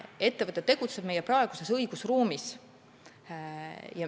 Ettevõte tegutseb meie praeguses õigusruumis.